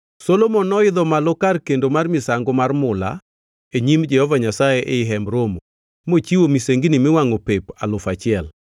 Solomon noidho malo kar kendo mar misango mar mula e nyim Jehova Nyasaye ei Hemb Romo, mochiwo misengini miwangʼo pep alufu achiel.